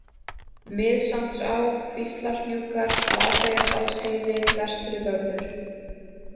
Miðsandsá, Kvíslarhnúkar, Flateyjardalsheiði, Vestrivörður